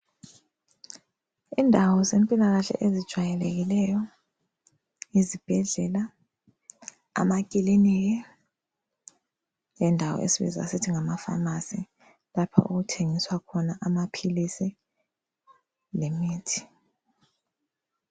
Indawo zempilakahle ezijwayelekileyo yizibhedlela, amakiliniki lendawo esibiza sisithi ngamafamasi. Lapha okuthengiswa khona amaphilisi lemithi.